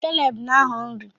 Caleb na agho nri